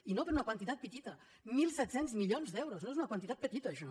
i no per una quantitat petita mil set cents milions d’euros no és una quantitat petita això